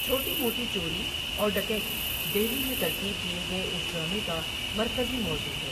چھوٹی موٹی چوری اور ڈکیتی دہلی میں ترتیب دیے گئے اس ڈرامے کا مرکزی موضوع ہے۔